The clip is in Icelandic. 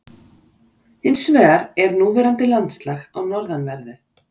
Hins vegar er núverandi landslag á norðanverðu